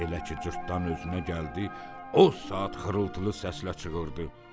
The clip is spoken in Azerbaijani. Elə ki cırtdan özünə gəldi, o saat xırıltılı səslə çıxırdı.